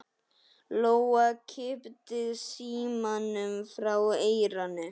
Lóa kippti símanum frá eyranu.